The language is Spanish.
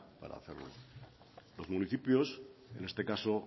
para hacerlo los municipios en este caso